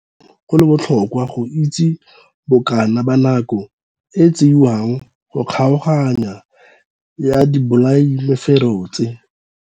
Goreng go le botlhokwa go itse bokana ba nako e e tseiwang go kgaoganya ya dibolayamefero tse?